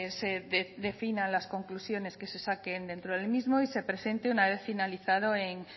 se definan las conclusiones que se saquen dentro del mismo y se presenten una vez finalizado en